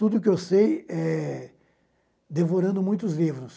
Tudo que eu sei é devorando muitos livros.